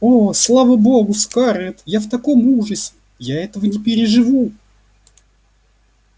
о слава богу скарлетт я в таком ужасе я этого не переживу